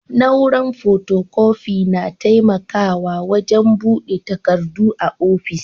Na'uran fotokofi na taimakawa wajen buga takardu a ofis.